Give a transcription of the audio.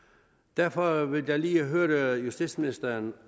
derfor vil jeg lige høre justitsministeren